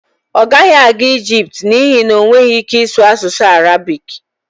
ọ gaghị aga Ijipt n'ihi na ọ nweghị ike ịsụ asụsụ Arabik